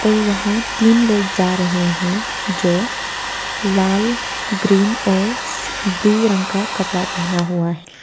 वहां तीन लोग जा रहे हैं जो लाल ग्रीन और ब्ल्यू रंग का कपड़ा पहना हुआ है।